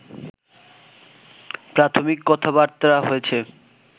প্রাথমিক কথাবার্তা হয়েছে